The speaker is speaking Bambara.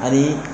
Ani